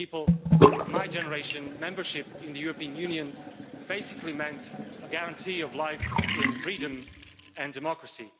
For people of my generation membership of the European Union basically meant a guarantee of life in freedom and democracy.